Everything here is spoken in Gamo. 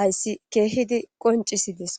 hayssi keehidi qonccissidees.